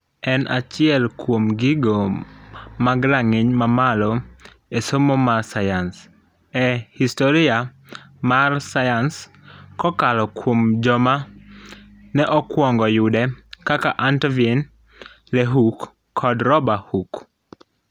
En achiel kuom gigo mag rang'iny mamalo esomo mar sayans e historia mar sayuans kokalo kuom joma ne okuongo yude kaka Antonivan Leeuwenhoek kod Rober Hooke.